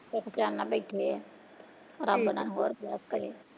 ਸੁੱਖ ਚੈਨ ਨਾਲ ਬੈਠੇ ਆ .